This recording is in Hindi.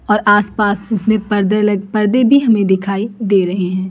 और आस पास में पर्दे लगे पर्दे भी हमें दिखाई दे रहे हैं।